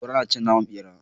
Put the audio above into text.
Kura nacin naman bera